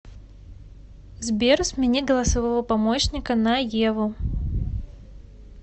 сбер смени голосового помощника на еву